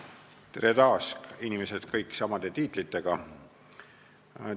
Tere taas, inimesed, kõik samade tiitlitega!